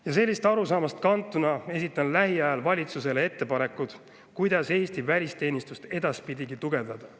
Ja sellisest arusaamast kantuna esitan lähiajal valitsusele ettepanekud, kuidas Eesti välisteenistust edaspidigi tugevdada.